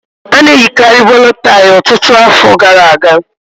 A na-eyikarị bòlọ́ tàị́ ọtụtụ afọ gara aga